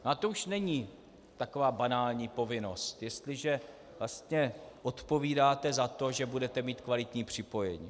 A to už není taková banální povinnost, jestliže vlastně odpovídáte za to, že budete mít kvalitní připojení.